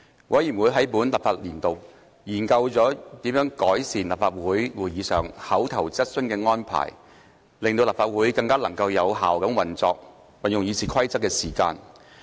委員會在本立法年度，研究了如何改善在立法會會議上口頭質詢的安排，令立法會能更有效運用議事的時間。